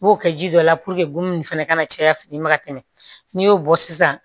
N b'o kɛ ji dɔ la nin fɛnɛ kana caya fini ma ka tɛmɛ n'i y'o bɔ sisan